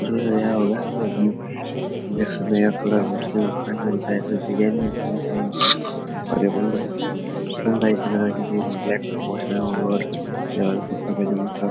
होगा जो कि कलर मुस्लिमों का ही होता है। ऐसा डिज़ाइन भी मुस्लिमों का ही होता है और ब्लैक कुर्ता-पजामा सब --